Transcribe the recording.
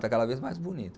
Está cada vez mais bonita.